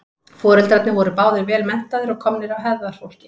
foreldrarnir voru báðir vel menntaðir og komnir af hefðarfólki